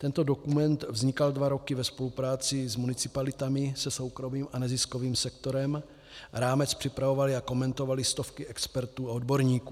Tento dokument vznikal dva roky ve spolupráci s municipalitami, se soukromým a neziskovým sektorem, rámec připravovaly a komentovaly stovky expertů a odborníků.